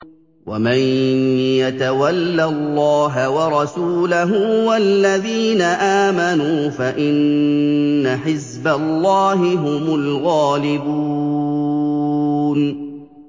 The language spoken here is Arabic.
وَمَن يَتَوَلَّ اللَّهَ وَرَسُولَهُ وَالَّذِينَ آمَنُوا فَإِنَّ حِزْبَ اللَّهِ هُمُ الْغَالِبُونَ